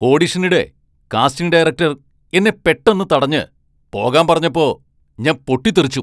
ഓഡിഷനിടെ casting director എന്നെ പെട്ടെന്ന് തടഞ്ഞ് പോകാൻ പറഞ്ഞപ്പോ ഞാൻ പൊട്ടിത്തെറിച്ചു.